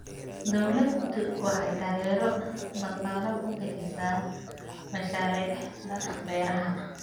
Dawladdu waxay taageero dhaqaale ku bixisaa mashaariicda beeraha.